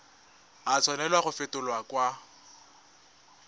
a tshwanela go fetolwa kwa